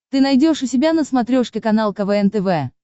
ты найдешь у себя на смотрешке канал квн тв